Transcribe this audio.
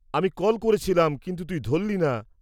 -আমি কল করেছিলাম কিন্তু তুই ধরলি না।